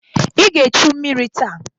I ga-echu mmiri taa!